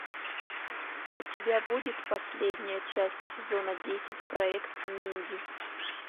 у тебя будет последняя часть сезона десять проект минди